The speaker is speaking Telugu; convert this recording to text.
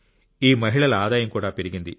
ఈ మహిళల ఆదాయం కూడా పెరిగింది